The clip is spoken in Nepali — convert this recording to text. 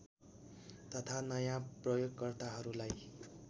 तथा नयाँ प्रयोगकर्ताहरूलाई